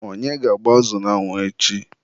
onye ga-agba azụ n'anwụ echi?